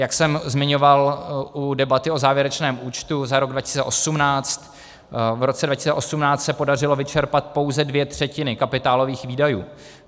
Jak jsem zmiňoval u debaty o závěrečném účtu za rok 2018, v roce 2018 se podařilo vyčerpat pouze dvě třetiny kapitálových výdajů.